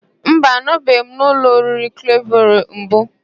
Mba, anọbeghị m n'ụlọ oriri Klevero mbụ.